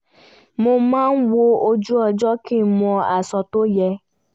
mo máa wo ojú-ọjọ kí n mọ aṣọ tó yẹ